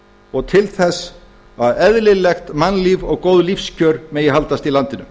og til þess að eðlilegt mannlíf og góð lífskjör megi haldast í landinu